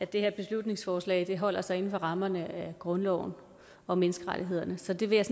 det her beslutningsforslag holder sig inden for rammerne af grundloven og menneskerettighederne så det vil